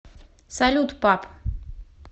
салют пап